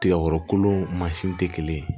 Tigakɔrɔ kolon mansin tɛ kelen ye